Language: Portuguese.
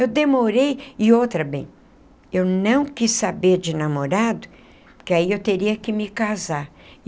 Eu demorei, e outra bem, eu não quis saber de namorado, porque aí eu teria que me casar.